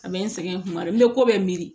A bɛ n sɛgɛn kuma dɔ la n bɛ ko bɛɛ miiri